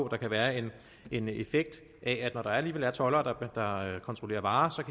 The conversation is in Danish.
kan være en en effekt af at når der alligevel er toldere der kontrollerer varer